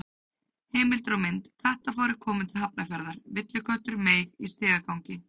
Heimildir og mynd: Kattafárið komið til Hafnarfjarðar: Villiköttur meig í stigagangi.